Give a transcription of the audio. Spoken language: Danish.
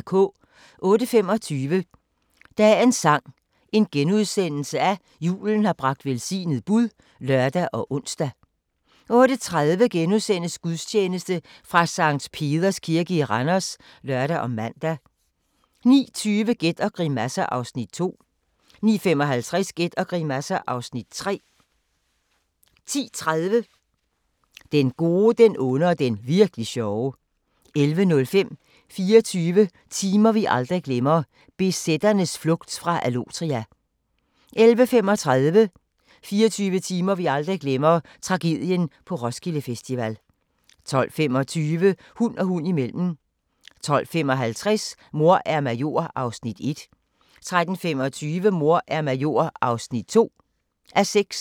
08:25: Dagens sang: Julen har bragt velsignet bud *(lør og ons) 08:30: Gudstjeneste fra Sct. Peders Kirke i Randers *(lør og man) 09:20: Gæt og grimasser (Afs. 2) 09:55: Gæt og grimasser (Afs. 3) 10:30: Den gode, den onde og den virk'li sjove 11:05: 24 timer vi aldrig glemmer – BZ'ernes flugt fra Allotria 11:35: 24 timer vi aldrig glemmer – Tragedien på Roskilde Festival 12:25: Hund og hund imellem 12:55: Mor er major (1:6) 13:25: Mor er major (2:6)